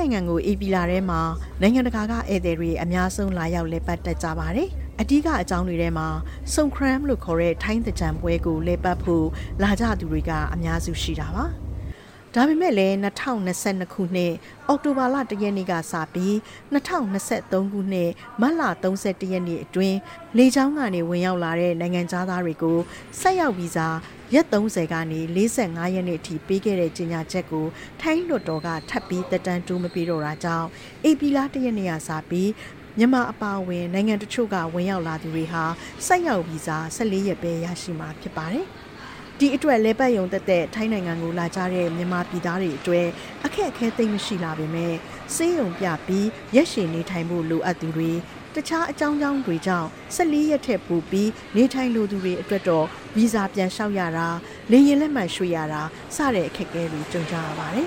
ိုင်ငံကို ဧပြီလထဲမှာ နိုင်ငံတကာကဧည့်သည်တွေ အများဆုံးလာရောက်လည်ပတ်တတ်ကြပါတယ်။ အဓိကအကြောင်းတွေထဲမှာ ဆွမ်ခရမ် လို့ခေါ်တဲ့ ထိုင်းသင်္ကြန်ပွဲကိုလည်ပတ်ဖို့လာကြသူတွေက အများစုရှိတာပါ။ ဒါပေမဲ့လည်း ၂၀၂၂ ခုနှစ်၊ အောက်တိုဘာလ ၁ ရက်နေ့ကစပြီး ၂၀၂၃ ခုနှစ်၊ မတ်လ ၃၁ ရက်နေ့အတွင်း လေကြောင်းကနေ ဝင်ရောက်လာတဲ့နိုင်ငံခြားသားတွေကို ဆိုက်ရောက်ဗီဇာ ရက် ၃၀ ကနေ ၄၅ ရက်အထိ ပေးခဲ့တဲ့ကြေညာချက်ကို ထိုင်းလွှတ်တော်က ထပ်ပြီး သက်တမ်းတိုးမပေးတော့တာကြောင့် ဧပြီလ ၁ ရက်နေ့ကစပြီး မြန်မာအပါအဝင် နိုင်ငံတချို့က ဝင်ရောက်လာသူတွေဟာ ဆိုက်ရောက်ဗီဇာ ၁၄ ရက်ပဲ ရရှိမှာဖြစ်ပါတယ်။ ဒီအတွက် လည်ပတ်ရုံသက်သက် ထိုင်းနိုင်ငံကိုလာကြတဲ့ မြန်မာပြည်သားတွေအတွက် အခက်အခဲသိပ်မရှိလှပေမဲ့ ဆေးရုံပြပြီး ရက်ရှည်နေထိုင်ဖို့လိုအပ်သူတွေ၊ တခြားအကြောင်းကြောင်းတွေကြောင့် ၁၄ ရက်ထက်ပိုပြီး နေထိုင်လိုသူတွေအတွက်တော့ ဗီဇာပြန်လျှောက်ရတာ၊ လေယာဉ်လက်မှတ်ရွှေ့ရတာ စတဲ့အခက်အခဲတွေ ကြုံကြရပါတယ်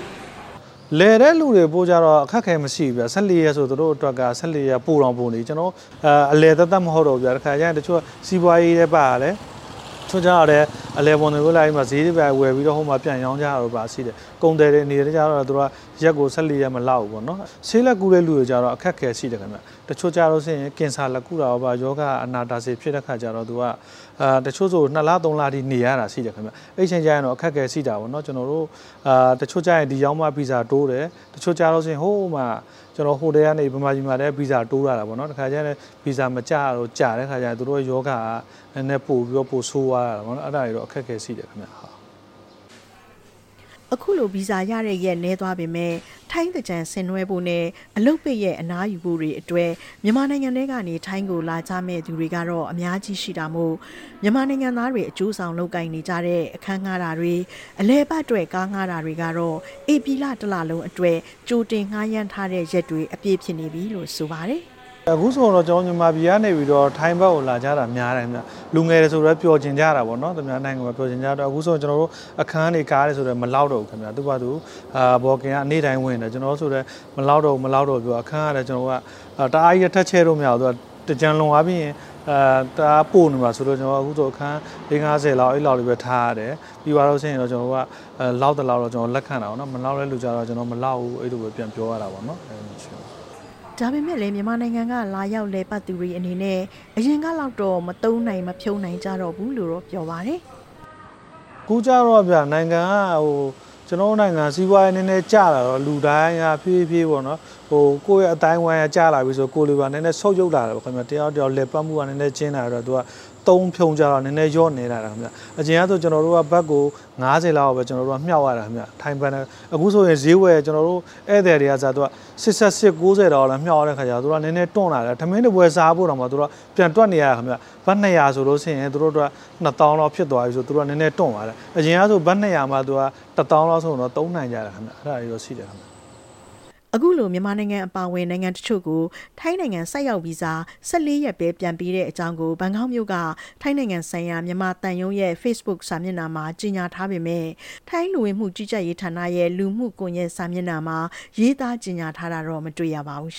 ။ ရွှေအိုးလေးကုမ္ပဏီပိုင်ရှင် ကိုအေးမင်းက အခုလို ပြောပါတယ်။ “လည်တဲ့သူတွေအတွက်တော့ အခက်မခဲမရှိဘူးဗျ။ ၁၄ ရက်ဆိုရင် သူတို့အတွက်က ပိုတောင်ပိုနေပြီ။ အလည်သက်သက်မဟုတ်ဘဲ တခါတလေကျရင် တချို့က စီးပွါးရေးလည်းပါတယ်၊ တချို့ကျတော့လည်း ဈေးတွေဘာတွေဝယ်ပြီးတော့ ပြန်ရောင်းကြတာတွေရှိတယ်။ ကုန်သည်တွေအနေနဲ့ကျတော့ သူတို့က ၁၄ ရက်မလောက်ဘူးပေါ့။ ဆေးလာကုတဲ့လူတွေကျတော့လည်း အခက်အခဲတွေရှိတယ်။ တချို့ကျလို့ရှိရင် ကင်ဆာလာကုတာတို့ဘာတို့၊ ရောဂါအနာတာရှည်ဖြစ်တဲ့အခါကျတော့ သူက တချို့ဆို နှစ်လ သုံးလအထိ နေရတာရှိတယ်ခင်ဗျ။ အဲဒီအချိန် ကျရင်တော့ အခက်အခဲတွေရှိတာပေါ့နော်။ တခါတလေကျရင် ဗီဇာမကျတာတို့ ကြာတဲ့အခါကျရင် သူတို့ရောဂါက နည်းနည်းပိုဆိုးသွားတာပေါ့နော်။ အဲဒါတွေကတော့ အခက်အခဲတွေရှိတယ်။” အခုလို ဗီဇာရတဲ့ရက်နည်းသွားပေမဲ့ ထိုင်းသင်္ကြန်ဆင်နွဲဖို့နဲ့ အလုပ်ပိတ်ရက်အနားယူဖို့တွေအတွက် မြန်မာနိုင်ငံထဲကနေ ထိုင်းကိုလာကြမယ့်သူတွေကတော့ အများကြီးရှိတာမို့ မြန်မာနိုင်ငံသားတွေအကျိုးဆောင်လုပ်ကိုင်နေကြတဲ့ အခန်းငှားတာတွေ၊ အလည်အပတ်အတွက် ကားငှားတာတွေကတော့ ဧပြီလတလုံးအတွက် ကြိုတင်ငှားရမ်းထားတဲ့ရက်တွေအပြည့်ဖြစ်နေပြီလို့ ဆိုပါတယ်။ “အခုဆိုရင်ကတော့ မြန်မာပြည်ကနေ ထိုင်းဘက်ကိုလာကြတာများတယ်ခင်ဗျ။ လူငယ်တွေဆိုလည်း ပျော်ချင်ကြတာပေါ့နော်။ သူများနိုင်ငံမှာ ပျော်ချင်ကြတယ်။ အခုဆိုရင် ကျနော်တို့ အခန်းတွေ၊ကားတွေဆိုလည်း မလောက်တော့ဘူးခင်ဗျ။ booking ကနေ့တိုင်းဝင်တယ်။ အခန်းကလည်း ကျနော်တို့ တအားကြီးထပ်ချဲ့လို့မရဘူး။ သင်္ကြန်လွန်သွားပြီးရင် တအားပိုနေမှာစိုးလို့ အခုဆို အခန်းလေးငါးဆယ်လောက် အဲလောက်လေးပဲ ထားရတယ်။ ပြောရလို့ရှိရင်တော့ ကျနော်တို့က လောက်သလောက်ပဲလက်ခံတာပေါ့နော်။ မလောက်တဲ့သူကျလည်း မလောက်ဘူး-အဲလိုမျိုးပဲ ကျနော်တို့က ပြန်ပြောထားတာပေါ့နော်။” ဒါပေမဲ့လည်း မြန်မာနိုင်ငံက လာရောက်လည်ပတ်သူတွေအနေနဲ့ အရင်ကလောက်တော့ မသုံးနိုင်၊ မဖြုန်းနိုင်ကြတော့ဘူးလို့ ပြောပါတယ်။ “အခုကျတော့ဗျာ၊ နိုင်ငံက စီးပွါးရေးနည်းနည်းကျလာတော့ လူတိုင်းက ကိုယ့်ရဲ့အသိုင်းအဝိုင်းကျလာပြီဆို...နည်းနည်းဆုတ်ယုတ်လာတာပေါ့။ တယောက်နဲ့တယောက် လည်ပတ်မှုက နည်းနည်း ကျဉ်းလာတော့ အသုံးအဖြုန်းကျတော့ နည်းနည်းလျော့နည်းလာတယ်ခင်ဗျ။ အရင်ကဆို ကျနော်တို့က ဘတ်(ထိုင်းငွေ) ကို ၅၀ လောက်ပဲမြှောက်ရတာခင်ဗျ။ ထိုင်းဘတ်နဲ့။ အခုဆိုရင် ဈေးဝယ်ရင် ဧည့်သည်တွေကအစ ၈၈-၉၀ လောက်နဲ့မြှောက်ရတဲ့အခါကျ သူတို့စိတ်ထဲမှာ နည်းနည်းတွန့်လာတယ်။ ထမင်းတပွဲစားဖို့အပေါ် ပြန်တွက်နေရတာ ဘတ် ၂၀၀ ဆို သူတို့ အတွက် ၂ သောင်းလောက်ဖြစ်သွားပြီဆို သူတို့က နည်းနည်းတွန့်သွားတယ်။ အရင်ကဆို ဘတ် ၂၀၀ မှ ၁ သောင်းလောက်ဆို သုံးနိုင်တယ်ပေါ့။ အဲဒါတွေတော့ ရှိတယ်ခင်ဗျ။” အခုလို မြန်မာနိုင်ငံအပါအဝင် နိုင်ငံတချို့ကို ထိုင်းနိုင်ငံ ဆိုက်ရောက်ဗီဇာ ၁၄ ရက်ပဲ ပြန်ပေးတဲ့အကြောင်းကို ဘန်ကောက်မြို့က ထိုင်းနိုင်ငံဆိုင်ရာ မြန်မာသံရုံးရဲ့ ဖေ့စ်ဘုတ်စာမျက်နှာမှာ ကြေညာထားပေမဲ့ ထိုင်းလူဝင်မှုကြီးကြပ်ရေးဌာနရဲ့ လူမှုကွန်ယက်စာမျက်နှာမှာ ရေးသာကြေညာထားတာတော့ မတွေ့ရပါဘူး။